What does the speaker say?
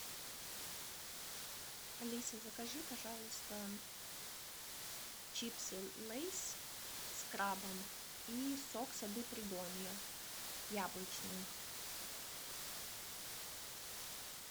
алиса закажи пожалуйста чипсы лейс с крабом и сок сады придонья яблочный